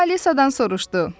O Alisadan soruşdu.